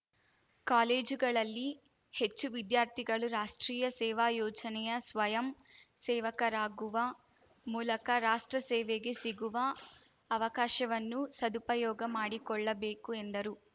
ಕಾಲೇಜುಗಳಲ್ಲಿ ಹೆಚ್ಚು ವಿದ್ಯಾರ್ಥಿಗಳು ರಾಷ್ಟ್ರೀಯ ಸೇವಾ ಯೋಜನೆಯ ಸ್ವಯಂ ಸೇವಕರಾಗುವ ಮೂಲಕ ರಾಷ್ಟ್ರ ಸೇವೆಗೆ ಸಿಗುವ ಅವಕಾಶವನ್ನು ಸದುಪಯೋಗ ಮಾಡಿಕೊಳ್ಳಬೇಕು ಎಂದರು